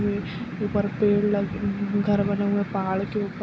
ये ऊपर पेड़ लग घर बना हुआ पहाड़ के ऊपर।